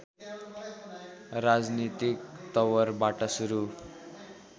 राजनीतिक तवरबाट सुरु